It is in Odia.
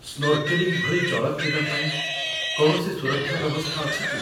ସ୍ନୋର୍କେଲିଂ ଭଳି ଜଳ କ୍ରୀଡ଼ା ପାଇଁ କୌଣସି ସୁରକ୍ଷା ବ୍ୟବସ୍ଥା ଅଛି କି?